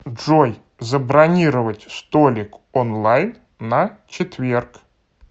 джой забронировать столик онлайн на четверг